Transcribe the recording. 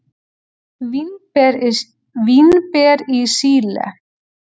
Vínber í Síle.